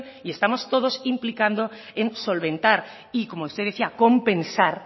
y estamos todos implicando en solventar y como usted decía compensar